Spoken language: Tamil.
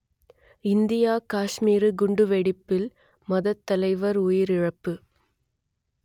இந்தியக் காஷ்மீர் குண்டுவெடிப்பில் மதத்தலைவர் உயிரிழப்பு